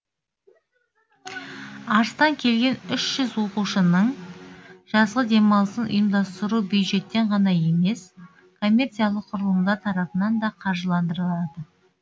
арыстан келген үш жүз оқушының жазғы демалысын ұйымдастыру бюджеттен ғана емес коммерциялық құрылымдар тарапынан да қаржыландырылады